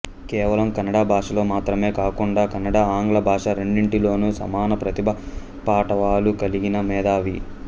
కేవలం కన్నడ భాషలో మాత్రమే కాకుండగా కన్నడ ఆంగ్ల భాష రెండింటిలోను సమాన ప్రతిభా పాటవాలు కలిగిన మేధావి